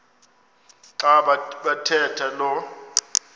xa bathetha lo